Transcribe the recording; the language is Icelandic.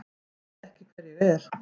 Ég veit ekki hver ég er.